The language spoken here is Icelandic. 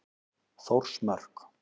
Þórsmörk